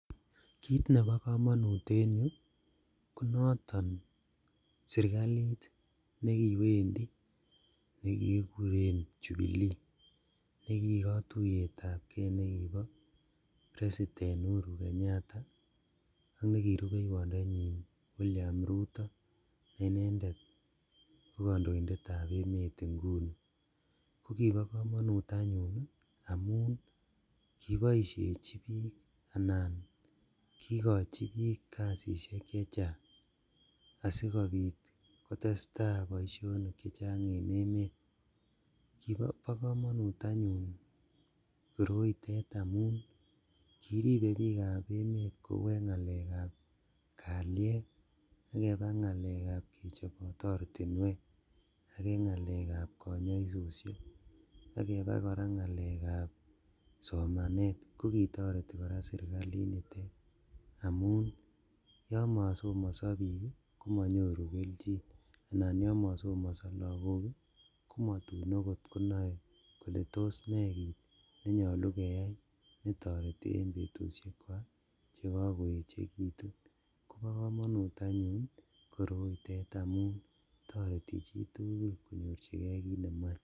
Kit nebo komonut en yu ko noton sirkalit nekiwendi nekikuren jubilee nekikotuyetab kee nekibo president Uhuru kenyatta ak nekirupeiwondenyin William Ruto ne inendet ko kondoindetab emet inguni ako kibo komonut anyun amun kiboisheji bik anan kikochi bik kasisiek chechang asikobit kotestaa boisionik chechang en emet, bokomonut anyun koroitet amun kiribe bikab emet kou en ngalekab kaliet ak kebaa ngalekab kechobot ortinwek, ak en ngalekab konyoisoshek, ak kebaa ngalekab somanet kokitoreti koraa sirkalinitet amun yon mosomoso bik komonyoru keljin anan yon mosomoso lagok komotun okot konoe kole tos nee nenyolu keyai netoreti en betushek chekokoechekitun bokomonut anyun koroitet amun toreti chitugul konyorjigee kit nemoe.